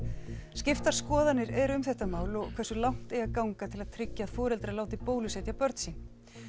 skiptar skoðanir eru um þetta mál og hversu langt eigi að ganga til að tryggja að foreldrar láti bólusetja börn sín